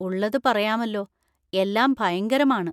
ഉള്ളത് പറയാമല്ലോ, എല്ലാം ഭയങ്കരമാണ്.